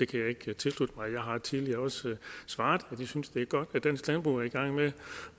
kan jeg ikke tilslutte mig jeg har tidligere også svaret at vi synes det er godt at dansk landbrug er i gang med